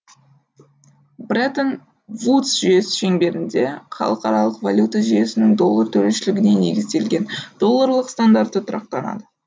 бреттон вудс жүйесі шеңберінде халықаралық валюта жүйесінің доллар төрешілігіне негізделген долларлық стандарты тұрақтанады